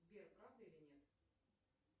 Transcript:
сбер правда или нет